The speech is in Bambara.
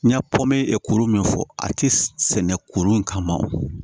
N y'a pɔmtɛ kuru min fɔ a tɛ sɛnɛ kuru in kama